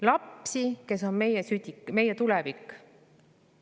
Lapsi, kes on meie tulevik.